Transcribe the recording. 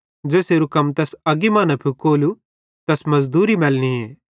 ज़ेसेरू कम तैस अग्गी सेइं न फुकोलू तैस मज़दूरी मैलनीए